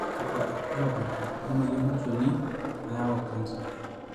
kakua irbulabol lenamoyian olnchoni nayau kansa?